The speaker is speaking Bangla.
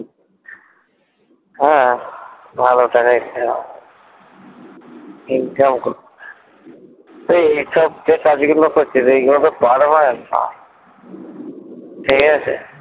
হ্যাঁ ভালো টাকাই income হবে income এই সব যে কাজ গুলো করছিস এইগুলো তো permanent না ঠিক আছে